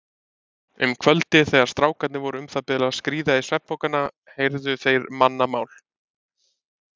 Um kvöldið þegar strákarnir voru um það bil að skríða í svefnpokana heyrðu þeir mannamál.